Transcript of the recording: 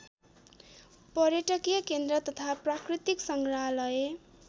पर्यटकीय केन्द्र तथा प्राकृतिक सङ्ग्राहलय